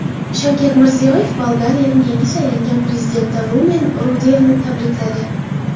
Shavkat Mirziyoyev Bolgariyaning yangi saylangan prezidenti Rumen Rudevni tabrikladi.